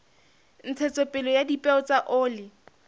ntshetsopele ya dipeo tsa oli